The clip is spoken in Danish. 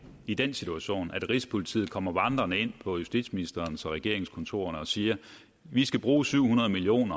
i den situation at rigspolitiet kommer vandrende ind på justitsministerens regeringskontorerne og siger vi skal bruge syv hundrede million